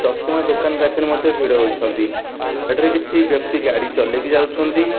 ଚଷମା ଦୋକାନ ପାଖରେ ମଧ୍ୟ ଭିଡ଼ ଅଛନ୍ତି। ଏଠାରେ କିଛି ବ୍ୟକ୍ତି ଗାଡି ଚଲେଇକି ଯାଉଛନ୍ତି।